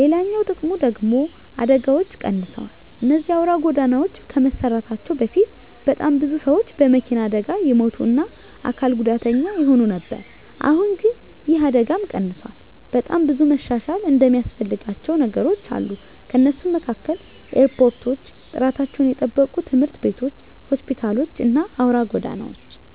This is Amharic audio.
ሌላኛው ጥቅሙ ደግሙ ደግሞ አደጋዎች ቀንሰዋል እነዚህ አውራ ጎዳናዎች ከመሰራታቸው በፊት በጣም ብዙ ሰዎች በመኪና አደጋ ይሞቱ እና አካል ጉዳተኛ ይሆኑ ነበር አሁን ግን ይህ አደጋም ቀንሷል። በጣም ብዙ መሻሻል እሚያስፈልጋቸው ነገሮች አሉ ከነሱም መካከል ኤርፖርቶች፣ ጥራታቸውን የጠበቁ ትምህርት ቤቶች፣ ሆስፒታሎች እና አውራ ጎዳናዎች።